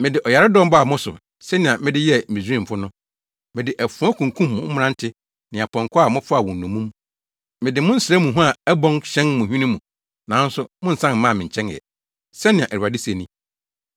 “Mede ɔyaredɔm baa mo so sɛnea mede yɛɛ Misraimfo no, mede afoa kunkum mo mmerante ne apɔnkɔ a mofaa wɔn nnommum mede mo nsra mu hua a ɛbɔn hyɛn mo hwene mu, nanso, monnsan mmaa me nkyɛn ɛ,” sɛnea Awurade se ni.